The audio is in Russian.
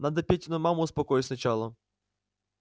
надо петину маму успокоить сначала